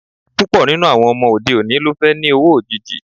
Púpọ̀ nínú àwọn ọmọ òde òní ló fẹ́ ni owó òjìji